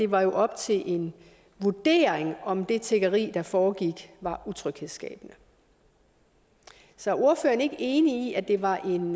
var op til en vurdering om det tiggeri der foregik var utryghedsskabende så er ordføreren ikke enig i at det var en